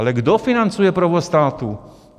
Ale kdo financuje provoz státu?